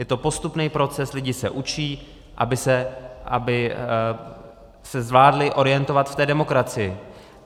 Je to postupný proces, lidi se učí, aby se zvládli orientovat v té demokracii.